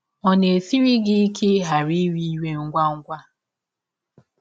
Ọ̀ na - esiri gị ike ịghara ‘ iwe iwe ngwa ngwa ’?